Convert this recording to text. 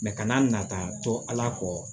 kana na nata to ala kɔ